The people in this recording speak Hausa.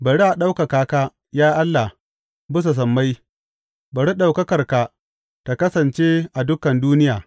Bari a ɗaukaka ka, ya Allah, bisa sammai; bari ɗaukakarka ta kasance a dukan duniya.